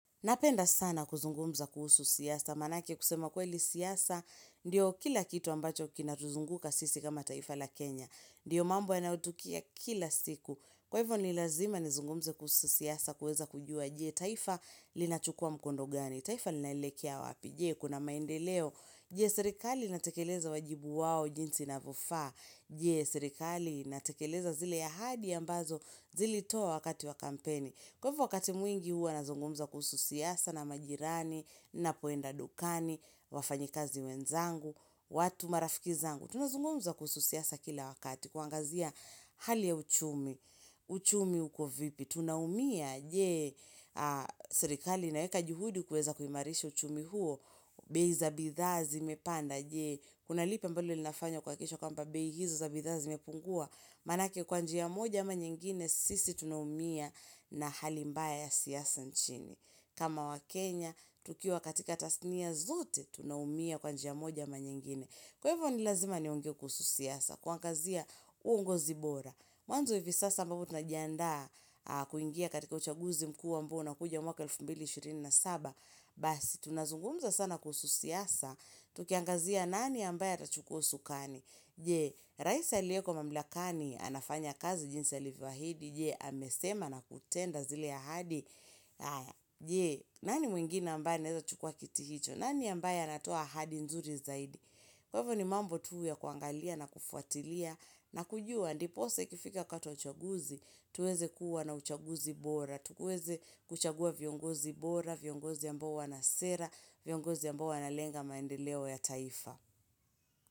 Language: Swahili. Napenda sana kuzungumza kuhusu siasa, manake kusema kweli siasa, ndiyo kila kitu ambacho kina tuzunguka sisi kama taifa la Kenya.Ndiyo mambo yanayotukia kila siku. Kwa hivyo ni lazima nizungumze kuhusu siasa kuweza kujua. Je? Taifa linachukua mkondogani. Taifa linaelekea wapi? Je? Kuna maendeleo? Je? Serikali inatekeleza wajibu wao jinsi inavyofaa? Je? Serikali inatekeleza zile ya ahadi ambazo zilitoa wakati wa kampeni. Kwa hivyo wakati mwingi huwa nazungumza kuhusu siasa na majirani, ninapoenda dukani, wafanyikazi wenzangu, watu marafiki zangu. Tunazungumza kuhusu siasa kila wakati kuangazia hali ya uchumi, uchumi huko vipi. Tunaumia.Je? Serikali inaeka juhudi kuweza kuhimarishi uchumi huo. Bei za bidhaa zimepanda, Je? Kuna lipi ambalo linafanywa kuakikisha kuwa bei hizo za bidha zimepungua. Manake kwa njia moja ama nyingine, sisi tunahumia na hali mbaya ya siasa nchini. Kama wa Kenya, tukiwa katika tasnia zote, tunahumia kwa njia moja ama nyingine. Kwa hivyo ni lazima niongee kuhusu siasa, kuangazia uongozi bora. Mwanzo hivi sasa ambapo tunajiandaa, kuingia katika uchaguzi mkuu ambao unakuja mwaka 2027.Basi. Tunazungumza sana kuhusu siasa, tukiangazia nani ambaye atachukua usukani. Je? Raisa aliyeko mamlakani, anafanya kazi jinsi alivyoahidi. Je? Amesema na kutenda zile ahadi. Je? Nani mwingine ambaye anaweza chukua kiti hicho? Nani ambaye anatoa ahadi nzuri zaidi? Kwa hivyo ni mambo tu ya kuangalia na kufuatilia na kujua. Ndiposa ikifika wakati wa uchaguzi, tuweze kuwa na uchaguzi bora. Tukuweze kuchagua viongozi bora, viongozi ambao wanasera, viongozi ambao wanalenga maendeleo ya taifa.